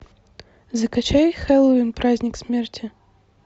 закачай хэллоуин праздник смерти